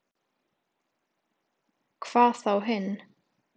Hvað þá hinn.